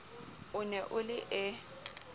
o ne o le e